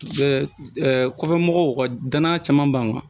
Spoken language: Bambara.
Kɔfɛ kɔfɛ mɔgɔw ka danaya caman ban